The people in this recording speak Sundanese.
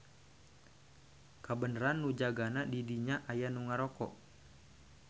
Kabeneran nu jagana di dinya aya nu ngaroko.